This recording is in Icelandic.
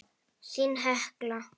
Þín Hekla.